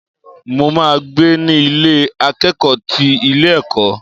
Mo ma gbé ní Ilé akẹ́kọ̀ọ́ ti ilé ẹ̀kọ́.